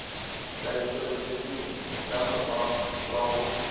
tlhahisoleseding ya mokgwa wa ho